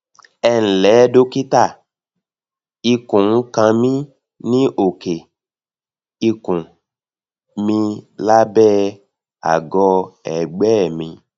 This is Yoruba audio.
ẹ ǹlẹ dókítà ikùn ń kan mí ní òkè ikùn milábẹ àgọ ẹgbẹ mi